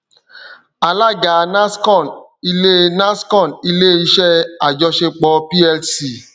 alága nascon ile nascon ile iṣẹ ajọṣepọ plc